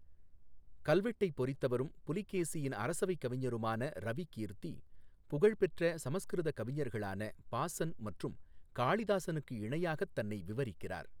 கல்வெட்டைப் பொறித்தவரும் புலிகேசியின் அரசவைக் கவிஞருமான ரவிகீர்த்தி, புகழ்பெற்ற சமஸ்கிருத கவிஞர்களான பாஸன் மற்றும் காளிதாசனுக்கு இணையாகத் தன்னை விவரிக்கிறார்.